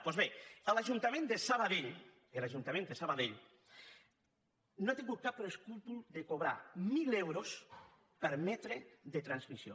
doncs bé l’ajuntament de sabadell l’ajuntament de sabadell no ha tingut cap escrúpol de cobrar mil euros per metre de transmissió